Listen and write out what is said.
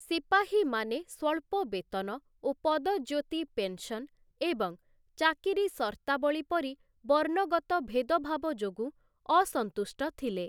ସିପାହୀମାନେ ସ୍ଵଳ୍ପ ବେତନ ଓ ପଦଜ୍ୟୋତି ପେନ୍‌ସନ୍‌ ଏବଂ ଚାକିରି ସର୍ତ୍ତାବଳୀ ପରି ବର୍ଣ୍ଣଗତ ଭେଦଭାବ ଯୋଗୁଁ ଅସନ୍ତୁଷ୍ଟ ଥିଲେ ।